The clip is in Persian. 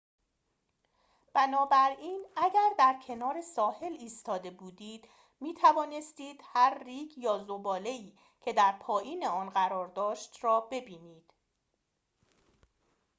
بنابراین اگر در کنار ساحل ایستاده بودید می‌توانستید هر ریگ یا ذباله‌ای که در پایین آن قرار داشت را ببینید